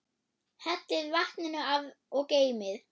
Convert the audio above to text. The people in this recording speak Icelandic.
Hellið vatninu af og geymið.